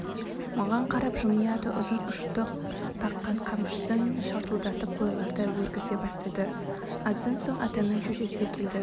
маған қарап жымияды ұзын ұштық таққан қамшысын шартылдатып қойларды өргізе бастады аздан соң атаның шешесі келді